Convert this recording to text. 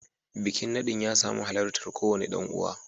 Bikin nadin ya samu halartar kowane dan uwa